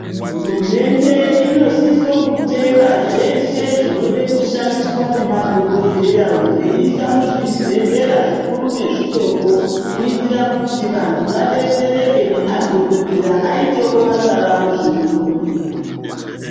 Hurumende inosisa kutenga zveshe zvinode kushandisa ngemadhokodheya veise muzvibhedhlera zvikuru nezvidoko kuitira kuti vantu vadetsereke ngemadhokoteya aitewo basa ravo zvirinyore.